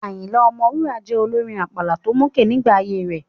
Ayinla Omowura jẹ́ olórin àpàlà tó mókè nígbà ayée rẹ̀.